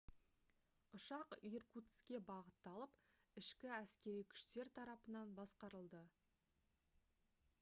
ұшақ иркутскке бағытталып ішкі әскери күштер тарапынан басқарылды